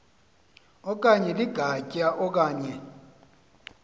okanye ligatya okanye